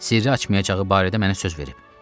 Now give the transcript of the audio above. Sirri açmayacağı barədə mənə söz verib.